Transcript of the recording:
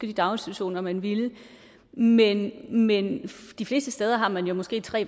de daginstitutioner man vil men men de fleste steder har man jo måske tre